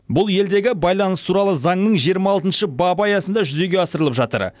бұл елдегі байланыс туралы заңның жиырма алтыншы бабы аясында жүзеге асырылып жатыр